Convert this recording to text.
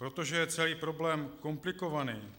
Protože je celý problém komplikovaný,